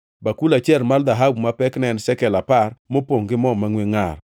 bakul achiel mar dhahabu ma pekne ne en shekel apar, mopongʼ gi mo mangʼwe ngʼar;